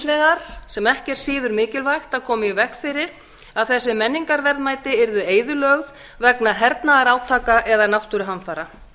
vegar sem ekki er síður mikilvægt að koma í veg fyrir að þessi menningarverðmæti yrðu eyðilögð vegna hernaðarátaka eða náttúruhamfara